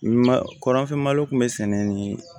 Ma kɔrɔnfɛ malo kun bɛ sɛnɛ nin